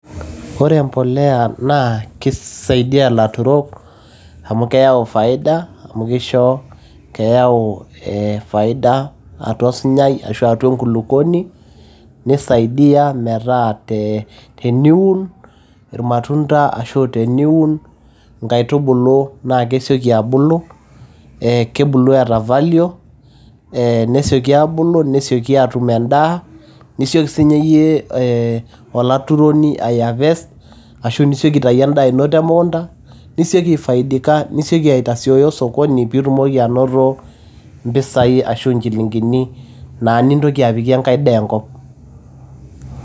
ore empolea naa kisaidia ilaturok amu keyau faida amu kisho keyau faida atua osunyai ashu atua enkulukuoni nisaidia metaa te teniun irmatunda ashu teniun nkaitubulu ee kebulu eeta value.ee nesioki abulu nesioki atum endaa nisioki si nye yie olaturoni aeharvest ashu isioki aitayu endaa ino te mukunda nisoki aifaidika nisioki aitasiooyo osokoni itumoki anoto mpisai ashu nchilingini naa nintoki apikie enkae daa enkop.